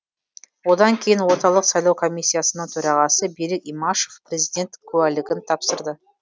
одан кейін орталық сайлау комиссиясының төрағасы берік имашев президент куәлігін тапсырды